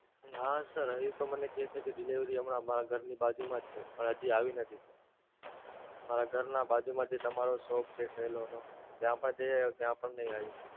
નાં Sir હજી તો મને કે છે કે Delivery, હમણાં મારા ઘર ની બાજુ માં જ છે પણ હજી આવી નથી. મારા ઘર નાં બાજુ માં જે તમારો shop છે Cello નો ત્યાં પણ જઈ આવ્યો ત્યાં પણ નહિ આવી.